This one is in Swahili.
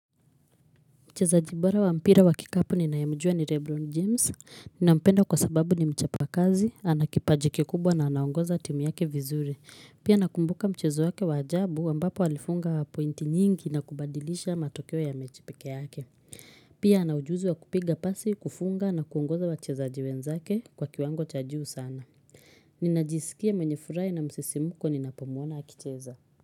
Mchezaji bora wa mpira wa kikapu ninayemujua ni Rebron James, ninampenda kwa sababu ni mchapa kazi, anakipaji kikubwa na anaongoza timu yake vizuri. Pia nakumbuka mchezo wake wajabu wambapo alifunga wa pointi nyingi na kubadilisha matokeo ya mechi pekee yake. Pia anaujuzi wa kupiga pasi, kufunga na kuongoza wachezaji wenzake kwa kiwango cha juu sana. Ninajisikia mwenye furai na msisimuko ninapomwona akicheza.